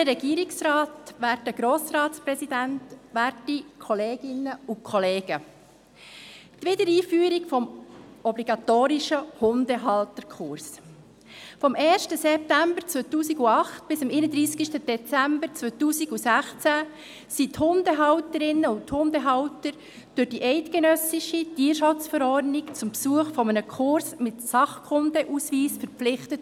Vom 1. September 2008 bis zum 31. Dezember 2016 waren die Hundehalterinnen und Hundehalter durch die eidgenössische Tierschutzverordnung (TSchV) zum Besuch eines Kurses mit Sachkundeausweis verpflichtet.